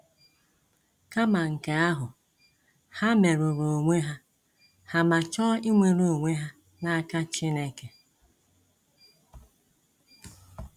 Kama nke ahụ, ha merụrụ onwe ha ma chọọ ịnwere onwe ha na aka Chineke.